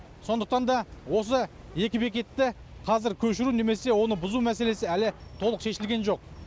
сондықтан да осы екі бекетті қазір көшіру немесе оны бұзу мәселесі әлі толық шешілген жоқ